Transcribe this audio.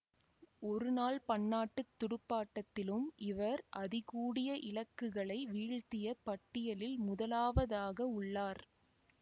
ஒருநாள் பன்னாட்டு துடுப்பாட்டத்திலும் இவர் அதிகூடிய இலக்குகளை வீழ்த்திய பட்டியலில் முதலாவதாக உள்ளார்